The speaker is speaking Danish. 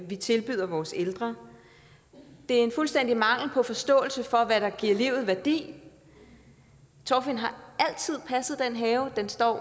vi tilbyder vores ældre det er en fuldstændig mangel på forståelse for hvad der giver livet værdi torfinn har altid passet den have den står